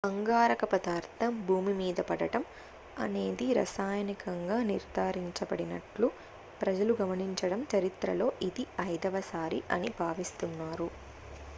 అంగారక పదార్థం భూమిమీద పడటం అనేది రసాయనికంగా నిర్ధారించబడిన ట్లు ప్రజలు గమనించడం చరిత్రలో ఇది ఐదవసారి అని భావిస్తున్నారు